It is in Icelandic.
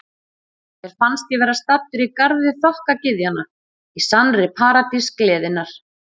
Mér fannst ég vera staddur í garði þokkagyðjanna, í sannri paradís gleðinnar.